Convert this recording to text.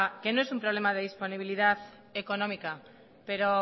que no es un problema de disponibilidad económica pero